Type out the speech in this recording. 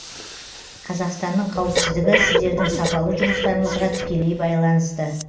қазақстанның қауіпсіздігі сіздердің сапалы жұмыстарыңызға тікелей байланысты